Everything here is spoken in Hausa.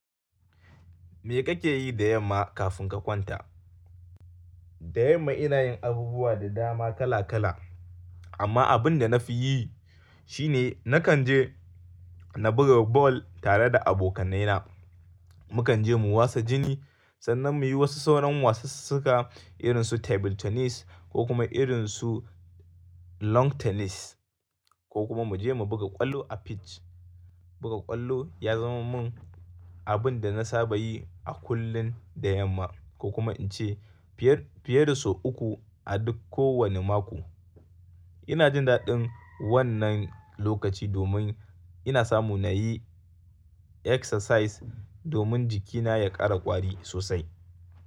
Me kake yi da yamma kafin ka kwanta? Da yamma ina yin abubuwa da dama kala-kala amma abin da na fi yi shine nakan je na buga ball tare da abokanai na. Mu kan je mu wasa jini sannan mu yi wasu sauran wasannin irin su table tennis ko kuma irin su long tennis ko kuma mu je mu buga kwallo a pitch. Buga kwallo ya zama mun abun da na saba yi a kullum da yamma ko kuma in ce fiye da sau uku a duk kowanne mako. Ina jin daɗin wannan lokaci domin ina samu na yi exercise domin jikina ya ƙara ƙwari sosai.